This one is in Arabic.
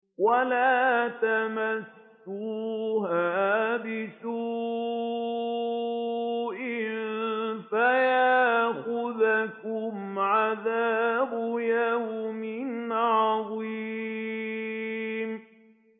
وَلَا تَمَسُّوهَا بِسُوءٍ فَيَأْخُذَكُمْ عَذَابُ يَوْمٍ عَظِيمٍ